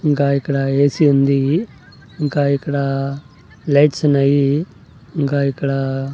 ఇంకా ఇక్కడ ఏసీ ఉంది ఇంకా ఇక్కడ లైట్స్ ఉన్నాయి ఇంకా ఇక్కడ--